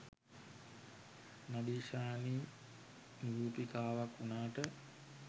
නදීෂානි නිරූපිකාවක් වුණාට